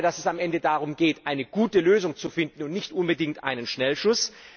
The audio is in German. Ich glaube, dass es am Ende darum geht, eine gute Lösung zu finden und nicht unbedingt einen Schnellschuss.